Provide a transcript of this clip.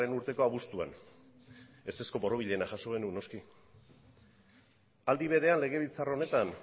urteko abuztuan ezezko borobilena jaso genuen noski aldi berean legebiltzar honetan